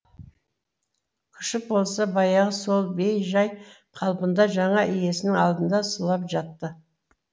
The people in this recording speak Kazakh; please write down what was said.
күшік болса баяғы сол бей жай қалпында жаңа иесінің алдында сұлап жатты